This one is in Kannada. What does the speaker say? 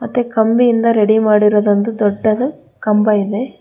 ಮತ್ತು ಕಂಬಿಯಿಂದ ರೆಡಿ ಮಾಡಿರೋದೊಂದು ದೊಡ್ಡದು ಕಂಬ ಇದೆ.